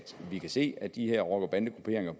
vi kan se at de her rocker bande grupperinger